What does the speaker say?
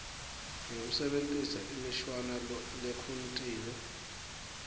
ngekusebentisa imishwana lekhontile